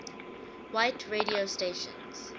white radio stations